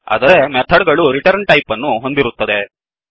ಆದರೆ ಮೆಥಡ್ ಗಳು return type ಅನ್ನು ಹೊಂದಿರುತ್ತದೆ